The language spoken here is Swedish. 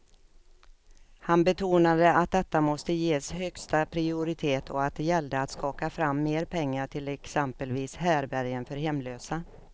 Han betonade att detta måste ges högsta prioritet och att det gällde att skaka fram mer pengar till exempelvis härbärgen för hemlösa.